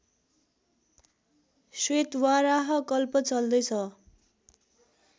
श्वेतवाराह कल्प चल्दैछ